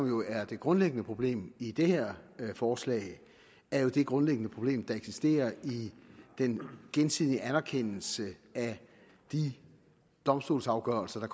jo er det grundlæggende problem i det her forslag er det grundlæggende problem der eksisterer i den gensidige anerkendelse af de domstolsafgørelser der